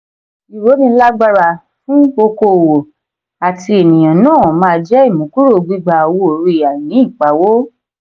ìrónilágbára fún okoòwò àti ènìyàn náà máa jẹ ìmúkúrò gbigba owó-orí àìní ìpawó.